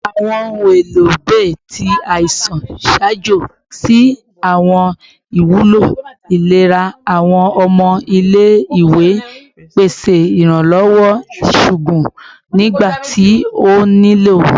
Awọn ohun elo bay ti aisan ṣaajo si awọn iwulo ilera awọn ọmọ ile-iwe, pese iranlọwọ iṣoogun nigbati o nilo